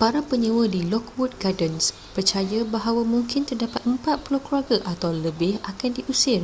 para penyewa di lockwood gardens percaya bahawa mungkin terdapat 40 keluarga atau lebih akan diusir